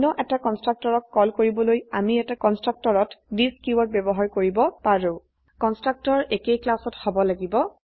অন্য এটা কন্সট্ৰকটৰক কল কৰিবলৈ আমি এটা কন্সট্ৰকটৰত থিচ কীওয়াৰ্ড ব্যবহাৰ কৰিব পাৰো কন্সট্ৰকটৰ একেই ক্লাসত হব লাগিব